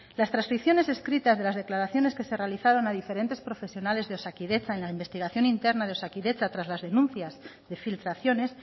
las transcripciones escritas de las declaraciones que se realizaron a diferente profesionales de osakidetza en la investigación interna de osakidetza tras las denuncias de filtraciones